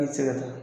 Ne tɛ se ka taa